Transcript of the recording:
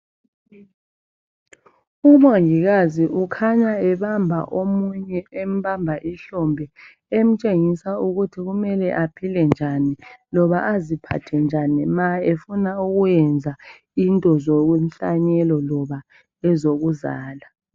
Umongikazi ukhanya ebamba omunye embamba ihlombe emtshengisa ukuthi kumele aphile njani loba aziphathe njani ma efuna ukuyenza into zenhlanyelo loba ezokuzala.